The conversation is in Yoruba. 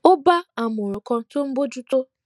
ó bá àmòràn kan tó ń bójú tó